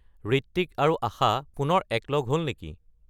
ঋত্বিক আৰু আশা পুনৰ একলগ হ'ল নেকি